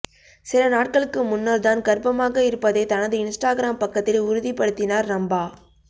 சில நாட்களுக்கு முன்னர் தான் கர்ப்பமாக இருப்பதை தனது இன்ஸ்டாகிராம் பக்கத்தில் உறுதிப்படுத்தினார் ரம்பா